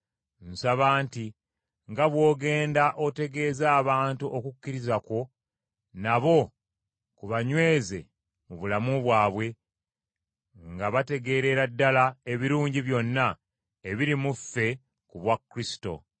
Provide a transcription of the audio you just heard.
Nsaba nti nga bw’ogenda otegeeza abantu okukkiriza kwo, nabo kubanyweze mu bulamu bwabwe, nga bategeerera ddala ebirungi byonna ebiri mu ffe ku bwa Kristo.